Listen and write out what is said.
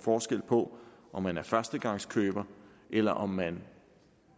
forskel på om man er førstegangskøber eller om man